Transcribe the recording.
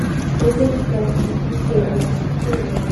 озеро страха наследие покажи